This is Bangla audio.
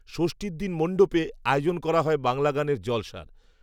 যষ্ঠীর দিন মণ্ডপে, আয়োজন করা হয়, বাংলা গানের, জলসা